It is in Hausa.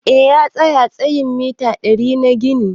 Eh, ya tsaya tsayin mita ɗari na ginin.